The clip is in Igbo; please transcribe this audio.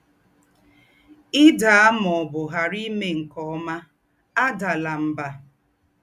Ì̀ dàà mà ọ̀ bù ghàrá ímè nké ọ́mà, àdàlà mbà.